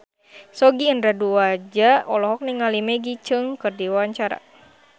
Sogi Indra Duaja olohok ningali Maggie Cheung keur diwawancara